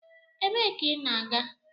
Ebee ka ị na-aga?